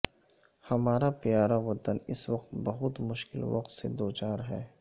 ھمارا پیارا وطن اس وقت بہت مشکل وقت سے دو چار ھے